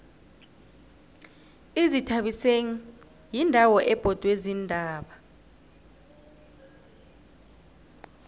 izithabiseni yindawo ebhodwe ziintaba